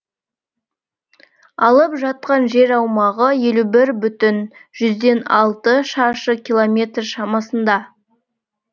алып жатқан жер аумағы елу бір бүтін жүзден алты шаршы километр шамасында